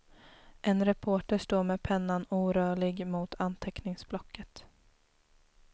En reporter står med pennan orörlig mot anteckningsblocket.